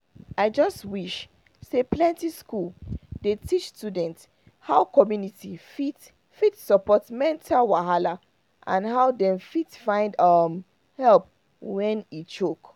i just wish say plenty school dey teach students how community fit fit support mental wahala and how dem fit find um help when e choke